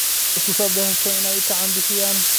Waxay iskusobahesteen inay ikacan bixiyan .